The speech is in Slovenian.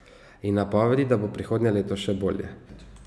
In napovedi, da bo prihodnje leto še bolje.